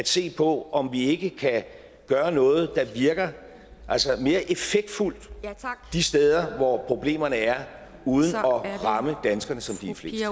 se på om vi ikke kan gøre noget der virker mere effektfuldt de steder hvor problemerne er uden at ramme danskerne som de er flest